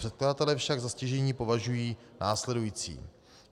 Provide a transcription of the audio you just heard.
Předkladatelé však za stěžejní považují následující.